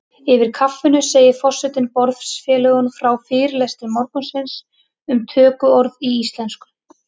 Yfir kaffinu segir forseti borðfélögum frá fyrirlestri morgunsins um tökuorð í íslensku.